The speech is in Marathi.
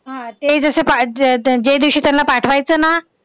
हा ते जसं ज्यादिवशी त्यांना पाठवायचं ना,